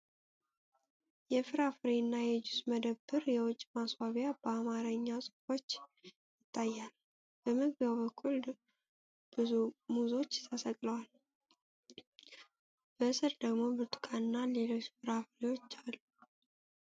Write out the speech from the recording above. የፍራፍሬና የጁስ መደብር የውጭ ማስዋቢያ በአማርኛ ጽሑፎች ይታያል። በመግቢያው በኩል ብዙ ሙዞች ተሰቅለው፣ በስር ደግሞ ብርቱካንና ሌሎች ፍራፍሬዎች አሉ ።